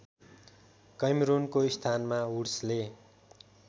कैमरूनको स्थानमा वुड्सले